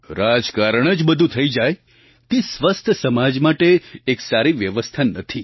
રાજકારણ જ બધું થઈ જાય તે સ્વસ્થ સમાજ માટે એક સારી વ્યવસ્થા નથી